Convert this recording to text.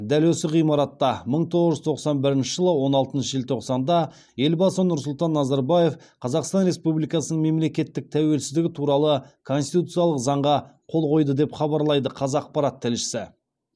дәл осы ғимаратта мың тоғыз жүз тоқсан бірінші жылы он алтыншы желтоқсанда елбасы нұрсұлтан назарбаев қазақстан республикасының мемлекеттік тәуелсіздігі туралы конституциялық заңға қол қойды деп хабарлайды қазақпарат тілшісі